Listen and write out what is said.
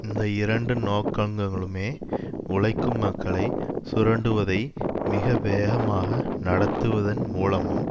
இந்த இரண்டு நோக்கங்களுமே உழைக்கும் மக்களை சுரண்டுவதை மிக வேகமாக நடத்துவதன் மூலமும்